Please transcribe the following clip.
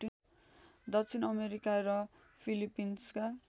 दक्षिण अमेरिका र फिलिपिन्सका